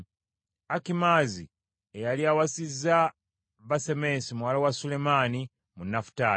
Akimaazi eyali awasizza Basemesi muwala wa Sulemaani, mu Nafutaali,